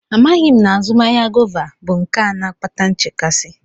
Amaghị m na azụmahịa gọva bụ nke a na-akpata nchekasị.